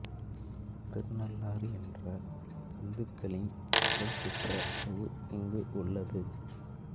திருநள்ளாறு என்ற இந்துக்களின் புகழ் பெற்ற ஊர் இங்கு உள்ளது